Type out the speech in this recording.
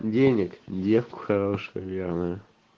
денег девка хорошая верная